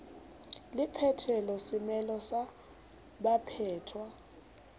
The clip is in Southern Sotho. le phethelo semelo sa baphetwa